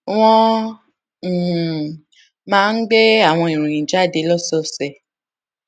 wón um máa ń gbé àwọn ìròyìn jáde lósòòsè